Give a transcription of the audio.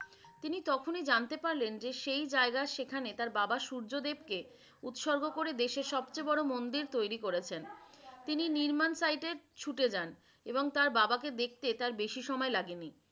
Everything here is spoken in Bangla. তিনি তখনিই জানতে পারলেন যে সেই জায়গায় সেইখানে তার বাবা সূর্যদেবকে উৎসর্গ করে দেশের সবচেয়ে বড় মন্দির তৈরি করছেন। তিনি নির্মাণ সাইটে ছুটে যান। এবং তার বাবাকে দেখতে তার বেশি সময় লাগেনি।